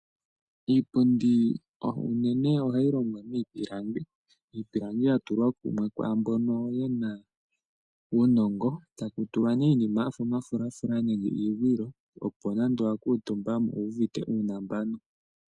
Iipundi ohayi longwa miipilangi iipilangi ohayi tulwa kumwe kwaambono yena uunongo, tayi tulwa uufulafula nenge iingwilo opo nande wakatumba owuuvite uunambanu.